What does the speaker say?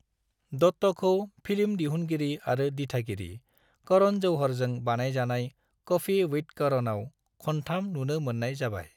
दत्ताखौ film दिहुनगिरि आरो दिथागिरि करण जौहरजों बानजायजानाय कॉफी विद करणआव खुनथाम नुनो मोन्नाय जाबाय।